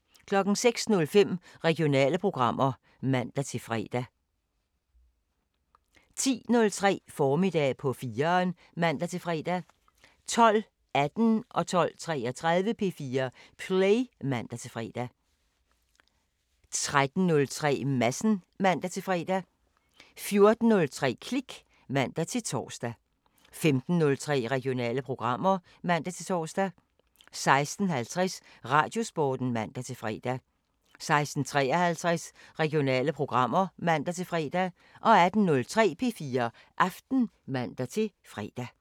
06:05: Regionale programmer (man-fre) 10:03: Formiddag på 4'eren (man-fre) 12:18: P4 Play (man-fre) 12:33: P4 Play (man-fre) 13:03: Madsen (man-fre) 14:03: Klik (man-tor) 15:03: Regionale programmer (man-tor) 16:50: Radiosporten (man-fre) 16:53: Regionale programmer (man-fre) 18:03: P4 Aften (man-fre)